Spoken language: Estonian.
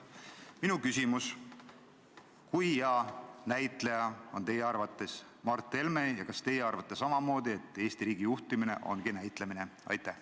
" Minu küsimus on: kui hea näitleja on teie arvates Mart Helme ja kas teie arvate samamoodi, et Eesti riigi juhtimine ongi näitemäng?